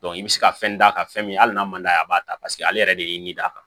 i bɛ se ka fɛn d'a kan fɛn min al'a man d'a ye a b'a ta paseke ale yɛrɛ de y'i d'a kan